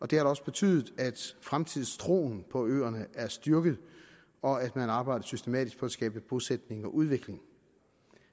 det har også betydet at fremtidstroen på øerne er blevet styrket og at man arbejder systematisk på at skabe bosætning og udvikling